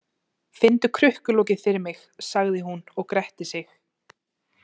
Finndu krukkulokið fyrir mig, sagði hún og gretti sig.